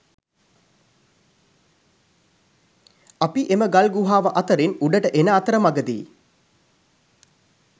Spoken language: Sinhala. අපි එම ගල් ගුහාව අතරින් උඩට එන අතරමගදි